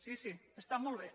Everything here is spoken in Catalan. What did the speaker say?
sí sí està molt bé